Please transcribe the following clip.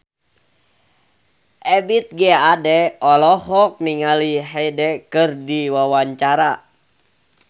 Ebith G. Ade olohok ningali Hyde keur diwawancara